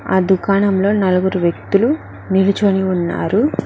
ఆ దుకాణంలో నలుగురు వ్యక్తులు నిలుచొని ఉన్నారు.